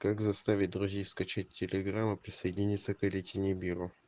как заставить друзей скачать телеграмму присоединиться к рите нибиру